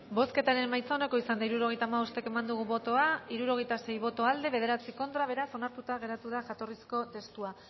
bozketaren emaitza onako izan da hirurogeita hamabost eman dugu bozka hirurogeita sei boto aldekoa nueve contra beraz onartuta gelditu da jatorrizko testua